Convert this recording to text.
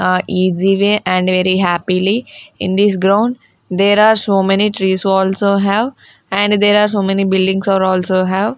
ah and very happily in this ground there are so many trees also have and there are so many buildings are also have.